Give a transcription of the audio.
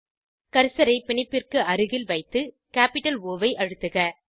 கர்சரை பிணைப்பிற்கு அருகில் வைத்து கேப்பிட்டல் ஒ ஐ அழுத்துக